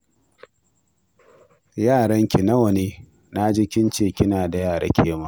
Yaranki nawa ne? Na ji kin ce kina da yara ke ma